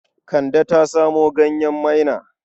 Kande ta samo ganyen maina.